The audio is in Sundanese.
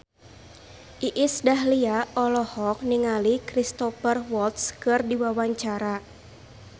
Iis Dahlia olohok ningali Cristhoper Waltz keur diwawancara